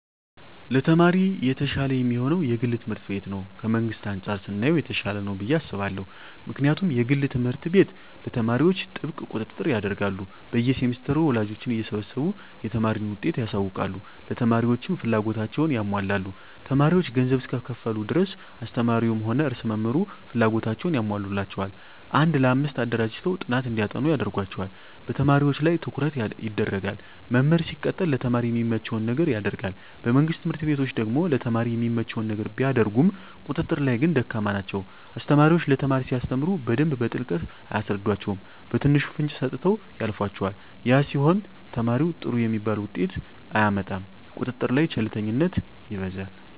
ለተማሪ የተሻለ የሚሆነዉ የግል ትምህርት ቤት ነዉ ከመንግስት አንፃር ስናየዉ የተሻለ ነዉ ብየ አስባለሁ ምክንያቱም የግል ትምህርት ቤት ለተማሪዎች ጥብቅ ቁጥጥር ያደርጋሉ በየ ሴምስተሩ ወላጆችን እየሰበሰቡ የተማሪን ዉጤት ያሳዉቃሉ ለተማሪዎችም ፍላጎታቸዉን ያሟላሉ ተማሪዎች ገንዘብ እስከከፈሉ ድረስ አስተማሪዉም ሆነ ርዕሰ መምህሩ ፍላጎታቸዉን ያሟሉላቸዋል አንድ ለአምስት አደራጅተዉ ጥናት እንዲያጠኑ ያደርጓቸዋል በተማሪዎች ላይ ትኩረት ይደረጋል መምህር ሲቀጠር ለተማሪ የሚመቸዉን ነገር ያደርጋል በመንግስት ትምህርት ቤቶች ደግሞ ለተማሪ የሚመቸዉን ነገር ቢያደርጉም ቁጥጥር ላይ ግን ደካማ ናቸዉ አስተማሪዎች ለተማሪ ሲያስተምሩ በደንብ በጥልቀት አያስረዷቸዉም በትንሹ ፍንጭ ሰጥተዉ ያልፏቸዋል ያ ሲሆን ተማሪዉ ጥሩ የሚባል ዉጤት አያመጣም ቁጥጥር ላይ ቸልተኝነት ይበዛል